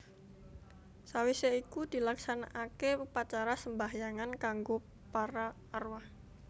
Sawisé iku dilaksanaake upacara sembahyangan kanggo para arwah